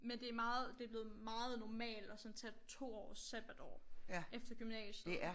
Men det meget det blevet meget normalt at sådan tage 2 års sabbatår efter gymnasiet